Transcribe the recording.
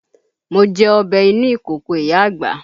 Mo jẹ ọbẹ̀ inú ìkòkò ìyá àgbà